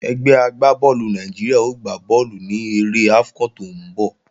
Ẹgbẹ́ àwọn agbá bọ́ọ̀lù Nàìjíríà ó gbá bọ́ọ̀lù ní eré AFCON tó ń bọ̀